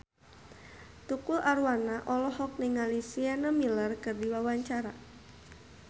Tukul Arwana olohok ningali Sienna Miller keur diwawancara